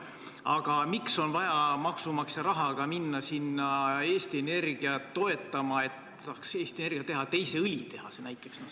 Aga miks on vaja maksumaksja rahaga Eesti Energiat toetada, et Eesti Energia saaks näiteks teise õlitehase teha?